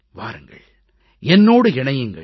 வாருங்கள் என்னோடு இணையுங்கள்